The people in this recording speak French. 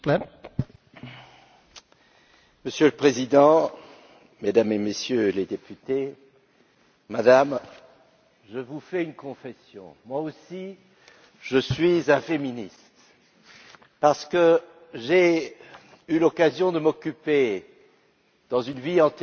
Monsieur le Président, Mesdames et Messieurs les députés, Madame, je vous fais une confession, moi aussi je suis un féministe parce que j'ai eu l'occasion de m'occuper, dans une vie antérieure, de la coopération au développement.